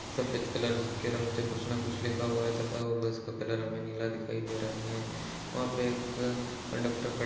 सफ़ेद कलर के रंग से कुछ न कुछ लिखा हुआ है तथा वो बस का कलर हमे नीला दिखाई रहा है वहाँपे एक कंडक्टर खड़ --